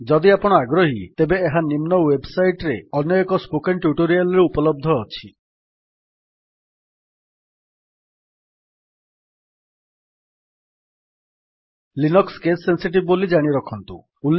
ଯଦି ଆପଣ ଆଗ୍ରହୀ ତେବେ ଏହା ନିମ୍ନ ୱେବ୍ ସାଇଟ୍ ରେ ଅନ୍ୟ ଏକ ସ୍ପୋକେନ୍ ଟ୍ୟୁଟୋରିଆଲ୍ ରେ ଉପଲବ୍ଧ ଅଛି httpspoken tutorialorg httpspoken tutorialorg Linux case sensitive ବୋଲି ଜାଣିରଖନ୍ତୁ